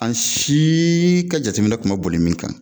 An si ka jateminɛ tun ma boli min kan